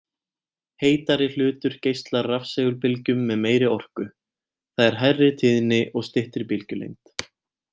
Heitari hlutur geislar rafsegulbylgjum með meiri orku, það er hærri tíðni og styttri bylgjulengd.